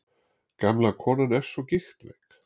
Gamla konan er svo gigtveik.